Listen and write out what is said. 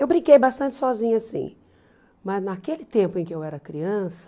Eu brinquei bastante sozinha, sim, mas naquele tempo em que eu era criança,